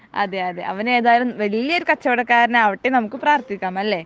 അതെ അതെ അവൻ ഏതായാലും വലിയൊരു കച്ചവടക്കാരനാവട്ടെ നമുക്ക് പ്രാർത്ഥിക്കാം അല്ലെ